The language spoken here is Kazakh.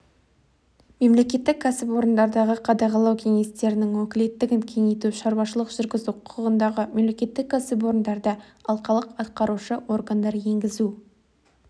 мемлекеттік кәсіпорындардағы қадағалау кеңестерінің өкілеттігін кеңейту шаруашылық жүргізу құқығындағы мемлекеттік кәсіпорындарда алқалық атқарушы органдар енгізу